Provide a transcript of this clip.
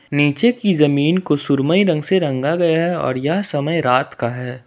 नीचे की जमीन को सुरमई रंग से रंग गया है और यह समय रात का है।